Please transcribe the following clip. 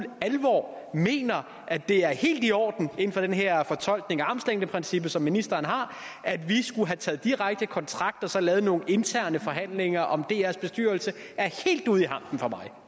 alvor mener at det er helt i orden inden for den her fortolkning af armslængdeprincippet som ministeren har at vi skulle have taget direkte kontakt og så lavet nogle interne forhandlinger om drs bestyrelse er helt ude i hampen for mig